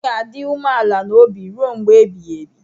M ga-adị umeala n'obi ruo mgbe ebighị ebi.